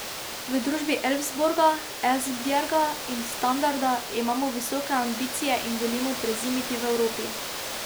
V družbi Elfsborga, Esbjerga in Standarda imamo visoke ambicije in želimo prezimiti v Evropi.